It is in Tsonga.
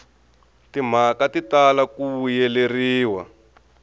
timhaka ti tala ku vuyeleriwa